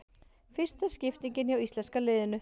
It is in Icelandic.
Fyrsta skiptingin hjá íslenska liðinu